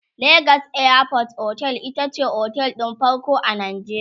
legas airport otel itace otel ɗin farko a Najeriya